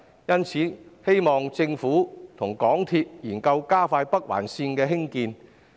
因此，我希望政府與港鐵公司研究加快北環綫的興建。